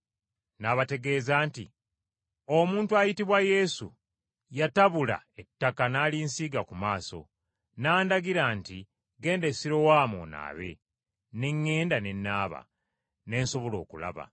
N’abategeeza nti, “Omuntu ayitibwa Yesu, yatabula ettaka n’alinsiiga ku maaso, n’andagira nti, ‘Genda e Sirowamu onaabe.’ Ne ŋŋenda ne naaba, ne nsobola okulaba.”